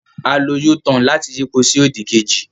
A lo u-turn láti yípo sí òdì kejì.